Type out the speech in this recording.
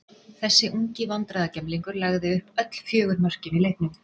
Þessi ungi vandræðagemlingur lagði upp öll fjögur mörkin í leiknum.